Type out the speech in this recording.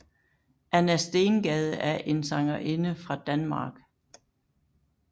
Anna Stengade er en sangerinde fra Danmark